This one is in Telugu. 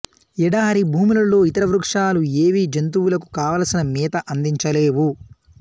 ఎడారి భూములలో ఇతర వృక్షాలు ఏవీ జంతువులకు కావలసిన మేత అందించ లేవు